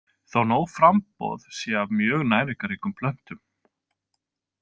Þó nóg framboð sé af mjög næringarríkum plöntum.